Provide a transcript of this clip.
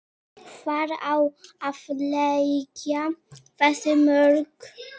Hvar á að leggja þessi mörk?